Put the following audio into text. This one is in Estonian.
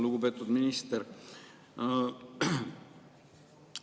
Lugupeetud minister!